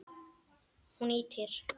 Hún ýtir